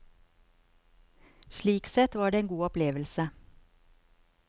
Slik sett var det en god opplevelse.